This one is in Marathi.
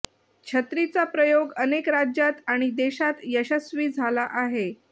छत्रीचा प्रयोग अनेक राज्यांत आणि देशांत यशस्वी झाला आहे